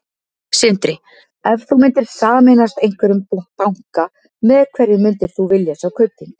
Sindri: Ef þú myndir sameinast einhverjum banka, með hverjum myndir þú vilja sjá Kaupþing?